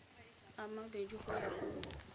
a mabedi go ya go